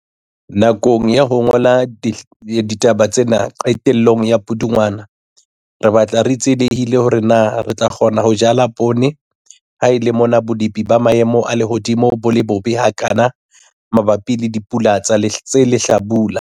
Nakong ya ho ngola ditaba tsena qetellong ya Pudungwana, re batla re tsielehile hore na re tla kgona ho jala poone ha e le mona bolepi ba maemo a lehodimo bo le bobe hakana mabapi le dipula tse lehlabula.